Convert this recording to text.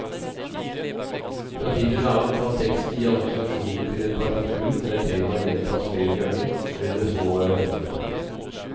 Fra tid til annen kan teksten gi assosiasjoner til et partitur der temaer gjentas flere ganger, men med små variasjoner.